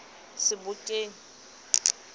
sebokeng